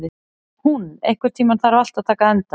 Húnn, einhvern tímann þarf allt að taka enda.